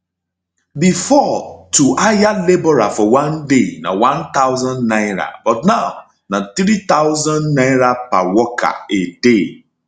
bifor to hire labourer for one day na n1000 but now na n3000 per worker a day